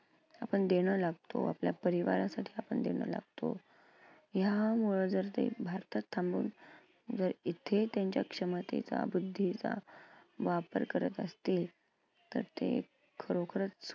आपण देणं लागतो आपल्या परिवारासाठी आपण देणं लागतो. ह्यामुळं जर ते भारतात थांबून जर इथे त्यांच्या क्षमतेचा, बुद्धीचा वापर करत असतील तर ते खरोखरच